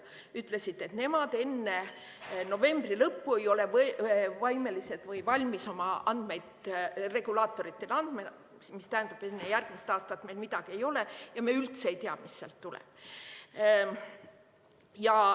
Nad ütlesid, et nemad enne novembri lõppu ei ole võimelised või valmis oma andmeid regulaatoritele andma, mis tähendab, et enne järgmist aastat meil midagi ei ole ja me üldse ei tea, mis sealt tuleb.